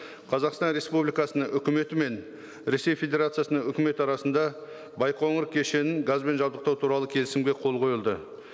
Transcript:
қазақстан республикасының үкіметі мен ресей федерациясының үкіметі арасында байқоңыр кешенін газбен жабдықтау туралы келісімге қол қойылды